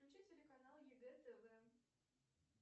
включи телеканал егэ тв